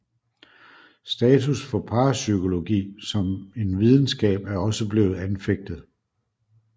Status for parapsykologi som en videnskab er også blevet anfægtet